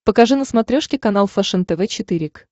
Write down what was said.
покажи на смотрешке канал фэшен тв четыре к